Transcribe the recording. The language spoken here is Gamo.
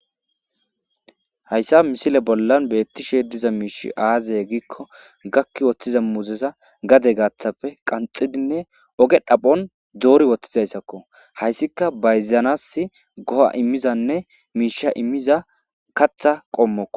Hayssa misile bollan beetishe diza miishshey aaze giiko gakki woththiza muuzeza gade gaathappe qanxxidinne oge dhabon doori woththizayssako hayssika bayzanaasi go'a immizaane miishsha immiza kaththa qommoko.